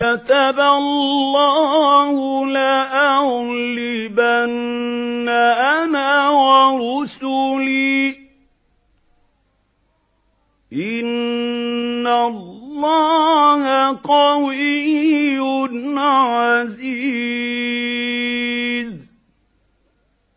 كَتَبَ اللَّهُ لَأَغْلِبَنَّ أَنَا وَرُسُلِي ۚ إِنَّ اللَّهَ قَوِيٌّ عَزِيزٌ